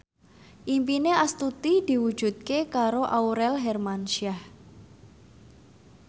impine Astuti diwujudke karo Aurel Hermansyah